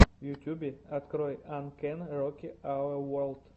в ютьюбе открой ай кэн роки ауэ ворлд